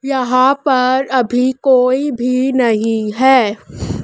यहां पर अभी कोई भी नहीं है।